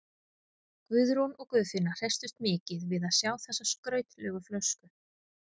Guðrún og Guðfinna hresstust mikið við að sjá þessa skrautlegu flösku.